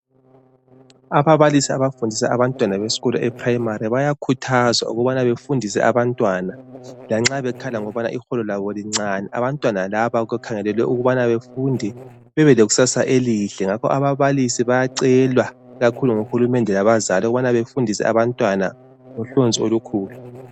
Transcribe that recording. Ababalisi abafundisa abantwana besikolo be eprimari bayakhuthazwa ukubana bafundise abantwana lanxa bekhala ngokubana iholo labo lincane abantwana laba kukhangelelwe ukuthi bafunde babe lekusasa elihle ngakho ababalisi bayacelwa kakhulu nguhulumende labazali ukubana bafundise abantwana ngohlonzi olukhulu.